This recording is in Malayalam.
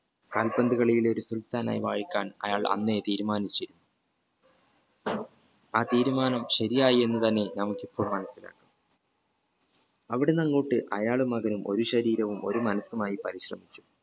കാലപ്പന്തുകളിയിലെ സുൽത്താനായി വാഴിക്കാൻ അയാൾ അനേ തീരുമാനിച്ചു ആ തീരുമാനം ശെരിയായി എന്ന് തന്നെ നമുക്കു ഇപ്പോൾ മനസിലായി അവിടുന്നു അങ്ങോട്ട് അയാളും മകനും ഒരു ശരീരവും ഒരു മനസുമായി പരിശ്രമിച്ചു